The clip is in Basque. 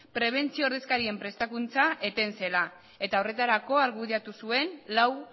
prebentzio ordezkarien prestakuntza eten zela eta horretarako argudiatu zuen lau